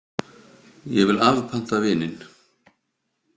Ég vil afpanta vininn!